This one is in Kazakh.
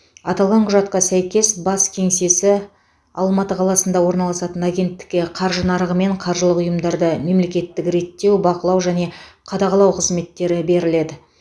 аталған құжатқа сәйкес бас кеңсесі алматы қаласында орналасатын агенттікке қаржы нарығы мен қаржылық ұйымдарды мемлекеттік реттеу бақылау және қадағалау қызметтері беріледі